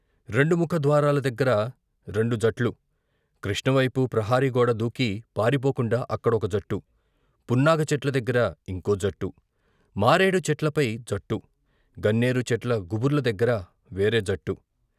రెండు ముఖ ద్వారాల దగ్గర రెండు జట్లు, కృష్ణవైపు ప్రహరీ గోడ దూకి పారిపోకుండా అక్కడ ఒక జట్టు, పున్నాగ చెట్ల దగ్గర ఇంకో జట్టు, మారేడు చెట్లపై జట్టు, గన్నేరు చెట్ల గుబుర్ల దగ్గర వేరే జట్టు.